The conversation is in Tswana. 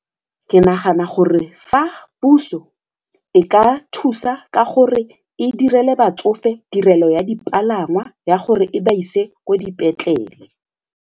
Ke nagana gore fa puso e ka thusa ka gore e direle batsofe tirelo ya dipalangwa ya gore e ba ise ko dipetlele.